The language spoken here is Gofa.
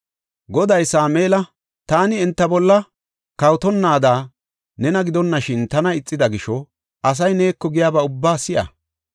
Goday Sameela, “Taani enta bolla kawotonnaada nena gidonashin tana ixida gisho asay neeko giyaba ubbaa si7a.